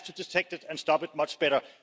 We have to detect it and stop it much better.